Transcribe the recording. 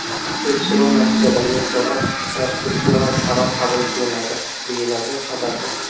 Tekshiruv natijalariga ko‘ra protsessual qaror qabul qilinadi”, deyiladi xabarda.